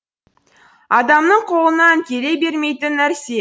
адамның қолынан келе бермейтін нәрсе